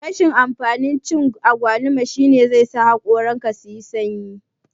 Rashin amfanin cin agwaluma shine zai sa hakoran ka suyi sanyi